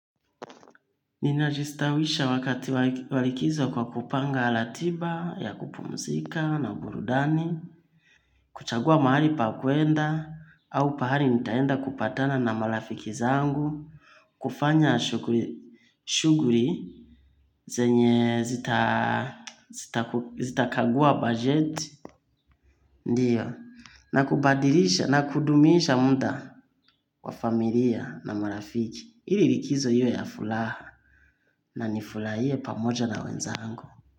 Ninajistawisha wakati wa likizo kwa kupanga ratiba ya kupumzika na burudani, kuchagua mahali pa kuenda au pahali nitaenda kupatana na marafiki zangu, kufanya shuguli zenye zitakagua bajeti, ndiyo, na kubadilisha na kudumisha muda wa familia na marafiki. Ili likizo iwe ya furaha na nifurahie pamoja na wenzaangu.